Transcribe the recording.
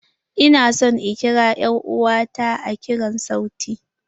Ina son in kira er'uwa ta a kiran sauti.